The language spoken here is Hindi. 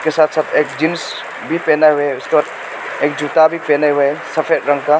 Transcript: साफ साफ एक जींस भी पहना है और उसके बाद जूता भी पहने हुए है सफेद रंग का।